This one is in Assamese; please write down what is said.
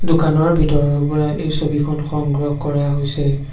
দোকানৰ ভিতৰৰ পৰা এই ছবিখন সংগ্ৰহ কৰা হৈছে।